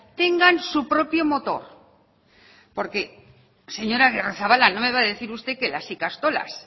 tengan su propio motor porque señor agirrezabala no me va a decir usted que las ikastolas